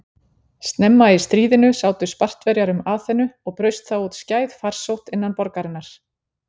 Snemma í stríðinu sátu Spartverjar um Aþenu og braust þá út skæð farsótt innan borgarinnar.